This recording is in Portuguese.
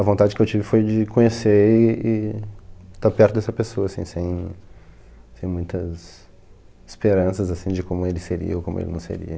A vontade que eu tive foi de conhecer e e estar perto dessa pessoa, assim, sem sem muitas esperanças, assim, de como ele seria ou como ele não seria.